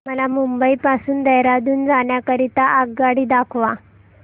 मला मुंबई पासून देहारादून जाण्या करीता आगगाडी दाखवा